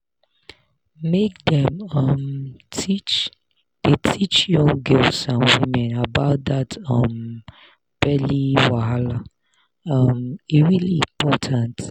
make dem [um]teach dey teach young girls and women about that um belly wahala um e really important